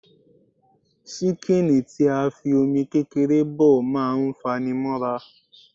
ṣíkìnì tí a fi Omi kékeré bọ̀ má ń fanimóra